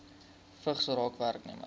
vigs raak werknemers